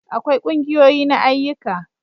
akwai ƙungiyoyi na ayyuka